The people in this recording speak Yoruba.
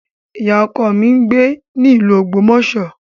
Ọkọ ìyá mi ń gbé ní ìlú Ogbomoso